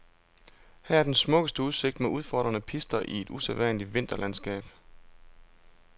Her er den smukkeste udsigt med udfordrende pister i et usædvanligt vinterlandskab.